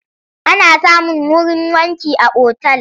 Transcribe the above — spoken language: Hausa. Ana samun wurin wanki a otal.